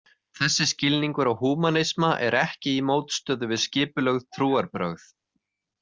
Þessi skilningur á húmanisma er ekki í mótstöðu við skipulögð trúarbrögð.